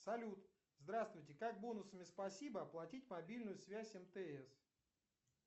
салют здравствуйте как бонусами спасибо оплатить мобильную связь мтс